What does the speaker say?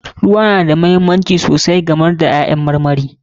Ruwa na da muhimmanci sosai kamar dai ƴaƴan marmari.